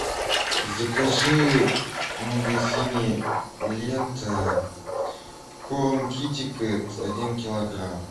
закажи в магазине лента корм китекэт один килограмм